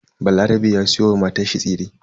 Balarabe ya siyo wa matanshi tsire.